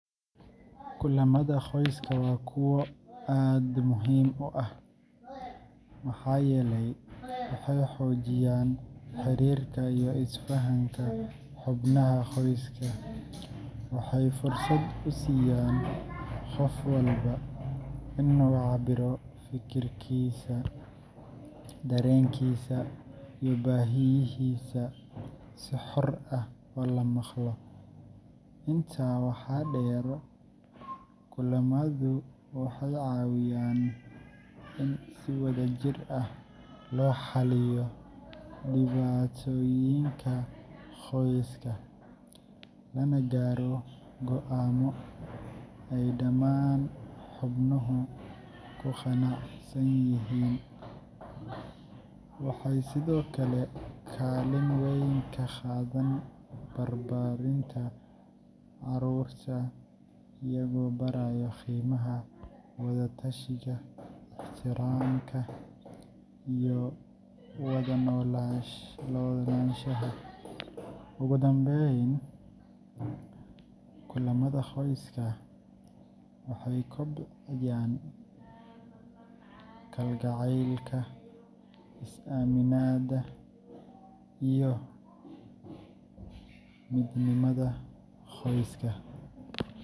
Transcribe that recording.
Kulamada qoyska waa kuwo aad muhiim u ah maxaa yeelay waxay xoojiyaan xiriirka iyo isfahanka xubnaha qoyska. Waxay fursad u siiyaan qof walba in uu cabiro fikirkiisa, dareenkiisa, iyo baahiyihiisa si xor ah oo la maqlo. Intaa waxaa dheer, kulamadu waxay caawiyaan in si wadajir ah loo xalliyo dhibaatooyinka qoyska, lana gaaro go’aamo ay dhammaan xubnuhu ku qanacsan yihiin. Waxay sidoo kale kaalin weyn ka qaataan barbaarinta carruurta, iyagoo baraya qiimaha wada-tashiga, ixtiraamka, iyo wada noolaanshaha. Ugu dambeyn, kulamada qoyska waxay kobciyaan kalgacaylka, is-aaminaadda, iyo midnimada qoyska.